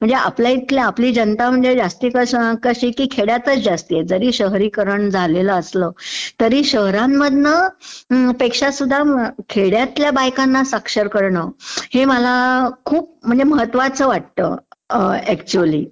म्हणजे आपल्या इकडे आपली जनता म्हणजे जास्ती खेड्यातचं जास्ती आहे, जरी शहरीकरणं झालेलं असलं तरी शहरांमधनं पेक्षासुध्दा खेड्यंतल्या बायकांना साक्षर करणं हे मला खूप म्हणजे महत्त्वाचं वाटतं ऍक्च्युअली... असं..